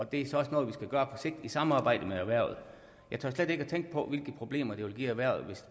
det er så også noget vi skal gøre på sigt i samarbejde med erhvervet jeg tør slet ikke tænke på hvilke problemer det vil give erhvervet